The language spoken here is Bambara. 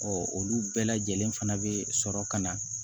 olu bɛɛ lajɛlen fana bɛ sɔrɔ ka na